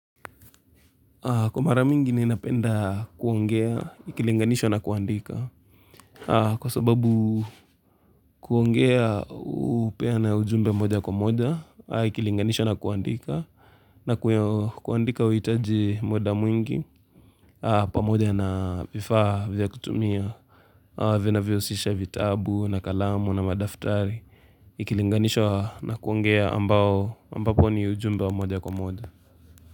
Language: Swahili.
Kwa mara mingi ninapenda kuongea, ikilinganisha na kuandika Kwa sababu kuongea hupeana ujumbe moja kwa moja, ikilinganishwo na kuandika na kuandika huhitaji muda mwingi, pamoja na vifaa vya kutumia Vinavyosisha vitabu na kalamu na madaftari Ikilinganishwa na kuongea ambapo ni ujumbe wa moja kwa moja.